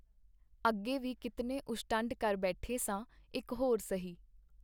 ਅੱਗੇ ਵੀ ਕੀਤਨੇ ਉਸ਼ਟੰਡ ਕਰ ਬੈਠੇ ਸਾਂ, ਇਕ ਹੋਰ ਸਹੀ.